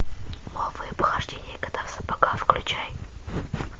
новые похождения кота в сапогах включай